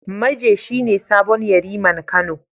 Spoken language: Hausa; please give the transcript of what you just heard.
Maje shi ne sabon Yariman Kano.